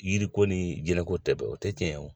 Yiriko ni jɛnɛko tɛ bɛn o tɛ tiɲɛ ye o.